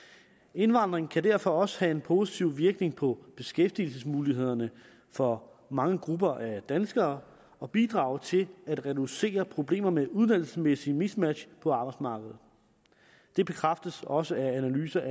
indvandring kan derfor også have en positiv virkning på beskæftigelsesmulighederne for mange grupper af danskere og bidrage til at reducere problemer med uddannelsesmæssig mismatch på arbejdsmarkedet det bekræftes også af analyser